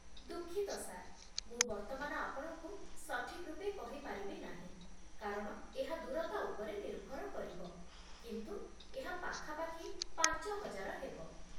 ଦୁଃଖିତ ସାର୍, ମୁଁ ବର୍ତ୍ତମାନ ଆପଣଙ୍କୁ ସଠିକ୍ ରୂପେ କହି ପାରିବି ନାହିଁ କାରଣ ଏହା ଦୂରତା ଉପରେ ନିର୍ଭର କରିବ, କିନ୍ତୁ ଏହା ପାଖାପାଖି ପାଞ୍ଚ ହଜାର ହେବ।